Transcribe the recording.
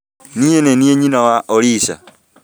Niĩ nĩniĩ nyina wa olisa